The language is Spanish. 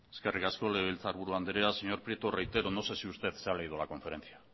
eskerrik asko legebiltzarburu andrea señor prieto reitero no sé si usted se ha leído la conferencia